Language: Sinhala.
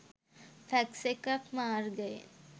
ෆැක්ස් එකක් මාර්ගයෙන්.